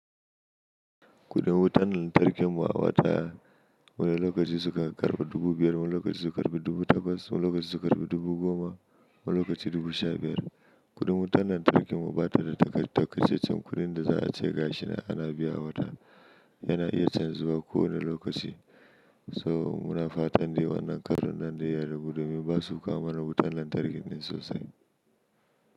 Kuɗin wutan lantarkin mu a wata, wani lokaci sukan karɓi dubu biyar, wani lokaci su karɓi dubu takwas, wani lokaci su karnɓi dubu goma, wani lokaci dubu sha biyar. Kuɗin wutar lantarkin mu bata da taƙaitaccen kuɗin da za a ce gashi nan ana biya a wata. Yana iya canzuwa kowanne lokaci. So muna fatan dai wannan karon nan dai ya ragu domin basu kawo mana wutan lantarki ne sosai.